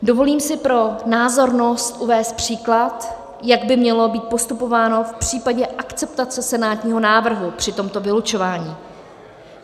Dovolím si pro názornost uvést příklad, jak by mělo být postupováno v případě akceptace senátního návrhu při tomto vylučování.